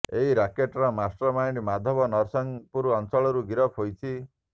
ଏହି ରାକେଟର master mind Madhab Narasinghpur ଅଞ୍ଚଳରୁ ଗିରଫ ହୋଇଛି